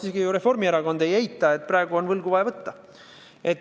Isegi Reformierakond ju ei eita, et praegu on vaja võlgu võtta.